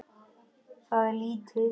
Það er lítið